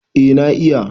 Eh na iya.